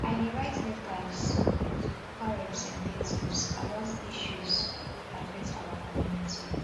i dey write letters to local representatives about issues wey affect our community